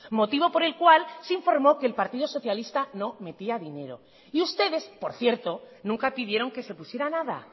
motivo por el cual se informó que el partido socialista no metía dinero y ustedes por cierto nunca pidieron que se pusiera nada